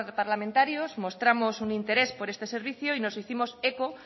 parlamentarios mostramos un interés por este servicio y nos hicimos eco